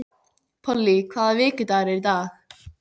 Polly, hvaða vikudagur er í dag?